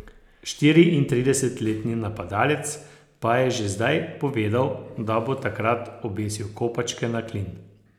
Štiriintridesetletni napadalec pa je že zdaj povedal, da bo takrat obesil kopačke na klin.